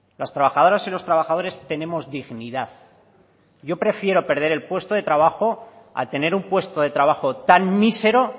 las trabajadoras y los trabajadores tenemos dignidad y yo prefiero perder el puesto de trabajo a tener un puesto de trabajo tan mísero